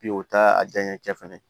Bi o taa a janya cɛ fɛnɛ